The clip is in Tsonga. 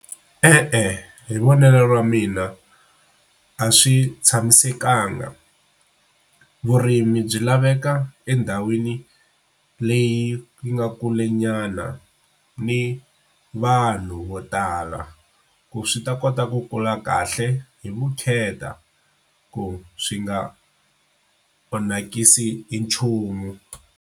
E-e, hi vonelo ra mina a swi tshamisekanga, vurimi byi laveka endhawini leyi yi nga kule nyana ni vanhu vo tala ku swi ta kota ku kula kahle hi vukheta ku swi nga onhakisi hi nchumu.